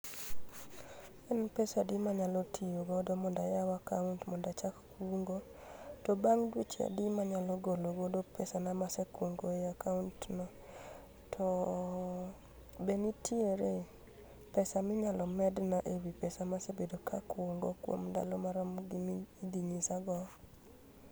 En pesa adi manyalo tiyo godo mondo ayao akaunt mondo achak kungo, to bang' dweche adi manyalo golo godo pesana ma asekungo e kaunt no.To be nitiere pesa minyalo medna ewi pesa ma asebedo kakungo kuom ndalo marom gi midhi nyisago